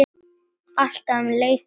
Alltaf um leið og hinir.